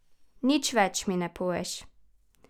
Nič več mi ne poveš.